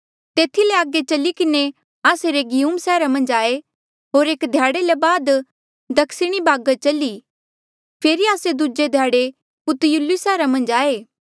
तेथी ले आगे चली किन्हें आस्से रेगियुम सैहरा मन्झ आये होर एक ध्याड़े ले बाद दक्षिणी बागर चली फेरी आस्से दूजे ध्याड़े पुतियुली सैहरा मन्झ आये